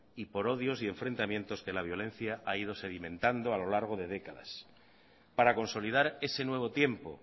y por odios y enfrentamientos que la violencia ha ido sedimentando a lo largo de décadas para consolidar ese nuevo tiempo